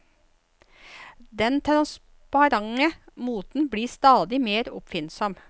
Den transparente moten blir stadig mer oppfinnsom.